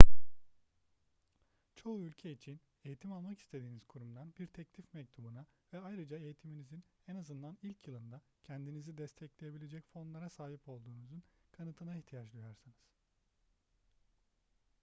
çoğu ülke için eğitim almak istediğiniz kurumdan bir teklif mektubuna ve ayrıca eğitiminizin en azından ilk yılında kendinizi destekleyebilecek fonlara sahip olduğunuzun kanıtına ihtiyaç duyarsınız